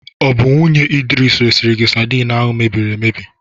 Ọ bụ nwunye Idris resiri gị sadin ahụ mebiri emebi?